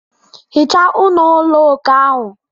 Hichaa ọnụ ụlọ okè ahụ.